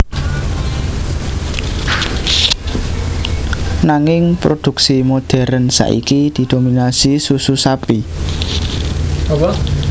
Nanging produksi modèrn saiki didominasi susu sapi